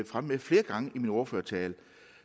fremme med flere gange i min ordførertale